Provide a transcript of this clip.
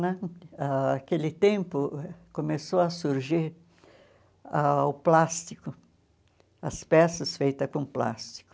Né? Ãh aquele tempo, começou a surgir ah o plástico, as peças feitas com plástico.